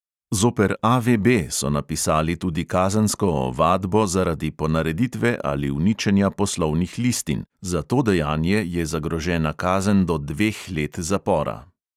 Zoper A V B so napisali tudi kazensko ovadbo zaradi ponareditve ali uničenja poslovnih listin – za to dejanje je zagrožena kazen do dveh let zapora.